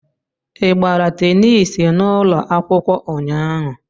Ị gbara tenis n'ụlọ akwụkwọ ụnyaahụ?